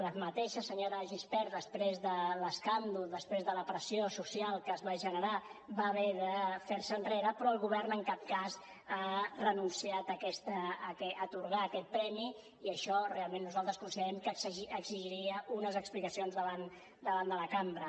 la mateixa senyora de gispert després de l’escàndol després de la pressió social que es va generar va haver de fer se enrere però el govern en cap cas ha renunciat a atorgar aquest premi i això realment nosaltres considerem que exigiria unes explicacions davant de la cambra